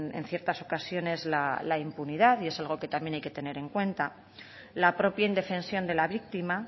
en ciertas ocasiones la impunidad y es algo que también hay que tener en cuenta la propia indefensión de la víctima